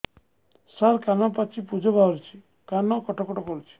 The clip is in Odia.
ସାର କାନ ପାଚି ପୂଜ ବାହାରୁଛି କାନ କଟ କଟ କରୁଛି